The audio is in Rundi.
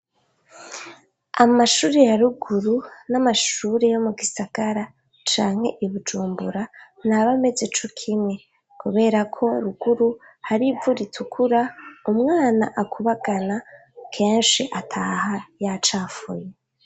Amashure ya ruguru n'amashure yo mu gisagara canke i Bujumbura ntaba ameze kumwe, kubera ko ruguru hari ivu ritukura umwana akubagana kenshi ataha yacafuye.